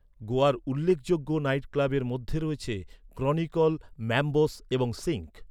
গোয়ার উল্লেখযোগ্য নাইটক্লাবের মধ্যে রয়েছে ক্রনিকল, ম্যাম্বোস এবং সিঙ্ক।